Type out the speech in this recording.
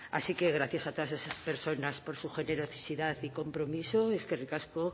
así que gracias a todas esas personas por su generosidad y compromiso eskerrik asko